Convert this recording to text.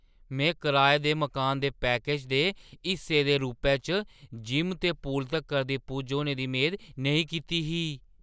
में कराए दे मकानै दे पैकेज दे हिस्से दे रूपै च जिम ते पूल तक्कर दी पुज्ज होने दी मेद नेईं कीती ही।